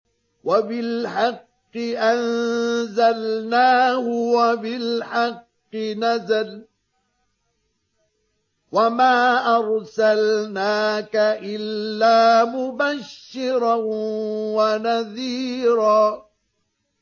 وَبِالْحَقِّ أَنزَلْنَاهُ وَبِالْحَقِّ نَزَلَ ۗ وَمَا أَرْسَلْنَاكَ إِلَّا مُبَشِّرًا وَنَذِيرًا